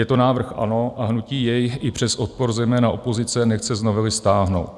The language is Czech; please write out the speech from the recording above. Je to návrh ANO a hnutí jej i přes odpor zejména opozice nechce z novely stáhnout.